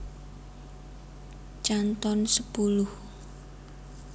Canton sepuluh